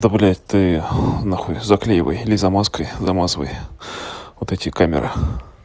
да блядь ты нахуй заклеивай или замазкой замазывай вот эти камеры